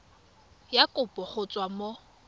ya kopo go tswa mo